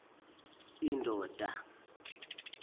endonda